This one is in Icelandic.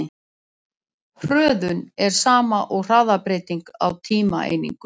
Hröðun er sama og hraðabreyting á tímaeiningu.